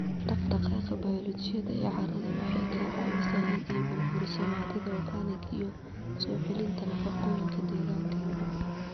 Dhaqdhaqaaqa bayoolojiga ee carrada waxay ka caawisaa in ay burburiso maadada organic iyo soo celinta nafaqooyinka deegaanka.